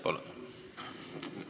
Palun!